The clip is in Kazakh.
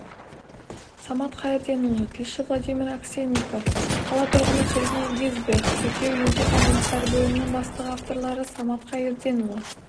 самат қайырденұлы тілші владимир аксенников қала тұрғыны сергей гизбрехт тіркеу-емтихан жұмыстары бөлімінің бастығы авторлары самат қайырденұлы